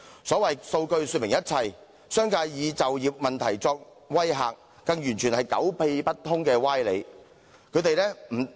所謂數據說明一切，商界以就業問題作威嚇，更完全是狗屁不通的歪理。